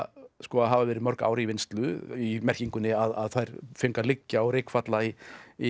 hafa verið mörg ár í vinnslu í merkingunni að þær fengu að liggja og rykfalla í í